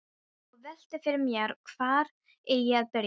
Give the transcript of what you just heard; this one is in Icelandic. Og velti fyrir mér hvar eigi að byrja.